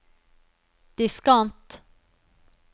diskant